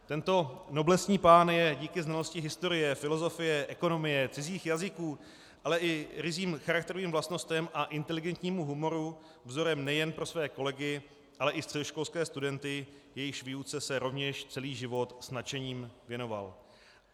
Tento noblesní pán je díky znalosti historie, filozofie, ekonomie, cizích jazyků, ale i ryzím charakterovým vlastnostem a inteligentnímu humoru vzorem nejen pro své kolegy, ale i středoškolské studenty, jejichž výuce se rovněž celý život s nadšením věnoval.